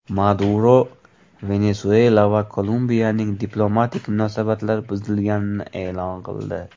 Maduro Venesuela va Kolumbiyaning diplomatik munosabatlar buzilganini e’lon qildi.